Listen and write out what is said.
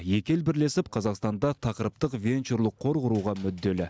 екі ел бірлесіп қазақстанда тақырыптық венчурлық қор құруға мүдделі